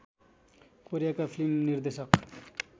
कोरियाका फिल्म निर्देशक